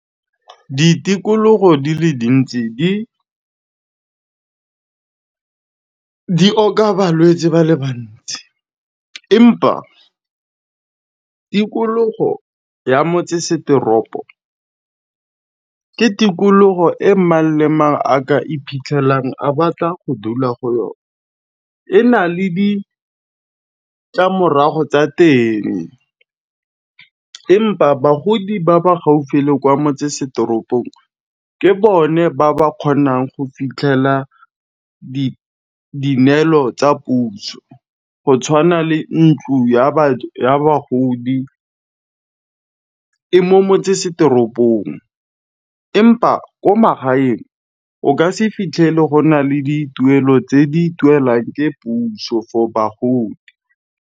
Ditikologo di le dintsi di di oka balwetsi ba le bantsi, empa tikologo ya motsesetoropo, ke tikologo e mang le mang a ka iphitlhelang a batla go dula go yona e nale ditlamorago tsa teng. Empa bagodi ba ba gaufi le kwa motsesetoropong ke bone ba ba kgonang go fitlhela di neelo tsa puso, go tshwana le ntlo ya ya bagodi. E mo motsesetoropong, empa ko magaeng o ka se fitlhele go na le dituelo tse di duelwang ke puso for bagodi.